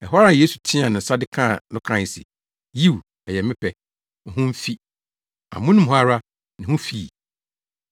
Ɛhɔ ara Yesu teɛɛ ne nsa de kaa no kae se, “Yiw, ɛyɛ me pɛ. Wo ho mfi.” Amono mu hɔ ara, ne ho fii.